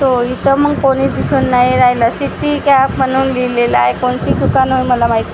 तो इथं मग कोणीच दिसून नाही राहिलं सिटी कॅप म्हणून लिहिलेलं आहे कोणची दुकानं मला माहित नाही .